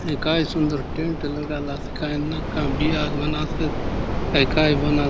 ए काय सुंदर टेंट लगालासे काय ना काय ब्याह बनासोत काय काय बनासोत।